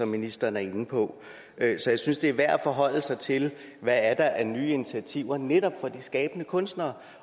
ministeren er inde på så jeg synes det er værd at forholde sig til hvad der er af nye initiativer netop for de skabende kunstnere